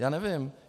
Já nevím.